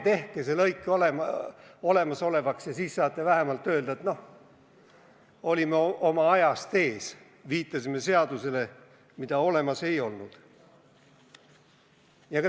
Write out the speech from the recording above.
Tehke see lõik olemasolevaks, ja siis saate vähemalt öelda, et noh, olime oma ajast ees, viitasime seadusepunktile, mida olemas ei olnud.